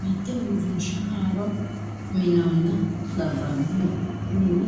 mitte uurinsha haaro minnoonnita labbannota minne